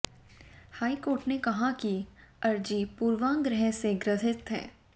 high court ने कहा कि अर्जी पूर्वाग्रह से ग्रसित है